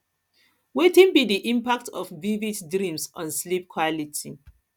wetin be di impact of vivid dreams on sleep quality